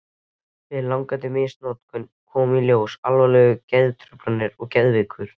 Við langvarandi misnotkun koma í ljós alvarlegar geðtruflanir og geðveilur.